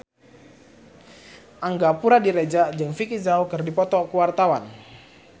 Angga Puradiredja jeung Vicki Zao keur dipoto ku wartawan